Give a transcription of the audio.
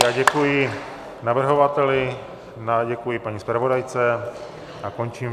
Já děkuji navrhovateli, děkuji paní zpravodajce a končím.